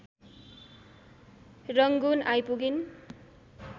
Rangoon आइपुगिन्।